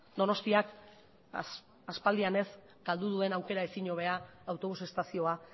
donostiak aspaldian ez galdu duen aukera ezin hobea autobus estazioa